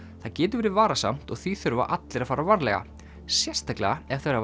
það getur verið varasamt og því þurfa allir að fara varlega sérstaklega ef þeir hafa